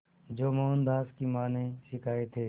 जो मोहनदास की मां ने सिखाए थे